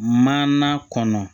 Manana kɔnɔ